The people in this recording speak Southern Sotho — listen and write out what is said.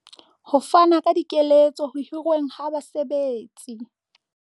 Ho fana ka dikeletso ho hirweng ha basebetsi.